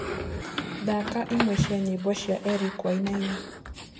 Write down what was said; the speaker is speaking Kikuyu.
thaka imwe cĩa nyĩmbo cĩa Eric wainaina